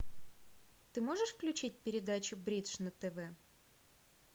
ты можешь включить передачу бридж на тв